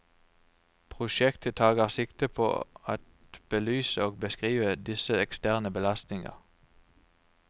Projektet tager sigte på at belyse og beskrive disse eksterne belastninger.